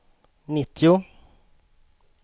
nittio